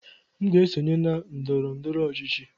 M ga-esonye na ndọrọ ndọrọ ọchịchị.